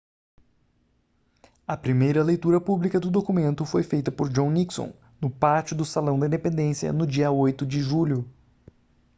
a primeira leitura pública do documento foi feita por john nixon no pátio do salão da independência no dia 8 de julho